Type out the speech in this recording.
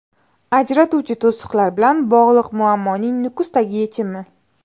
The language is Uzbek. Ajratuvchi to‘siqlar bilan bog‘liq muammoning Nukusdagi yechimi.